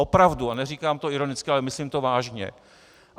Opravdu, a neříkám to ironicky, ale myslím to vážně.